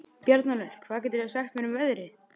Bjarnólfur, hvað geturðu sagt mér um veðrið?